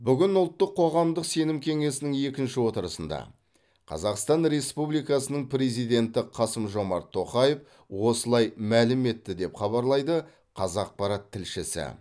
бүгін ұлттық қоғамдық сенім кеңесінің екінші отырысында қазақстан республикасының президенті қасым жомарт тоқаев осылай мәлім етті деп хабарлайды қазақпарат тілшісі